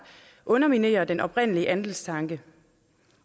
underminerer den oprindelige andelstanke